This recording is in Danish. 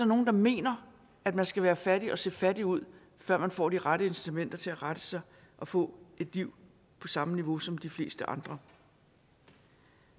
nogle der mener at man skal være fattig og se fattig ud før man får de rette incitamenter til at rette sig og få et liv på samme niveau som de fleste andre